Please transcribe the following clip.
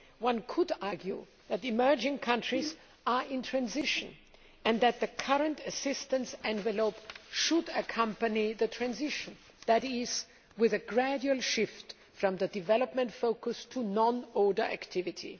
One could argue that emerging countries are in transition and that the current assistance envelope should accompany that transition that is, with a gradual shift from the development focus to non ODA activity.